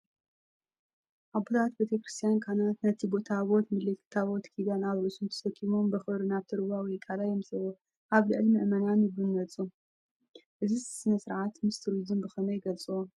ኣቦታት ቤተ ክርስቲያን (ካህናት) ነቲ ታቦት (ምልክት ታቦት ኪዳን) ኣብ ርእሶም ተሰኪሞም ብኽብሪ ናብቲ ሩባ ወይ ቐላይ የምጽእዎ። ኣብ ልዕሊ ምእመናን ይነጽጎ ፣ እዚ ስነ-ስርዓት ምስ ቱሪዝምን ብኸመይ ይጸልዎ?